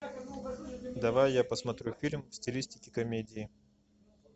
давай я посмотрю фильм в стилистике комедии